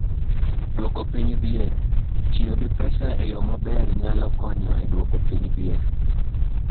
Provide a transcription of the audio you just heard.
Duoko piny dhier: Tiyo gi pesa e yo maber nyalo konyo e duoko piny dhier.